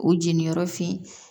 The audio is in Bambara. O jeniyɔrɔ fin